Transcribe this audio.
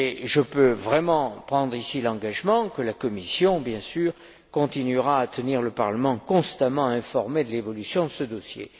Je peux vraiment prendre ici l'engagement que la Commission continuera, bien sûr, à tenir le Parlement constamment informé de l'évolution de ce dossier.